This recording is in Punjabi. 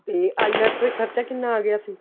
ਤੇ IELTS ਤੇ ਖਰਚਾ ਕਿੰਨਾ ਆ ਗਿਆ ਸੀ